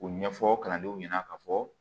U ɲɛfɔ kalandenw ɲɛna ka fɔ